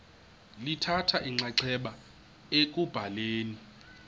lithatha inxaxheba ekubhaleni